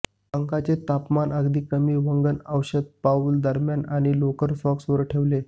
अंगाचे तापमान अगदी कमी वंगण औषध पाऊल दरम्यान आणि लोकर सॉक्स वर ठेवले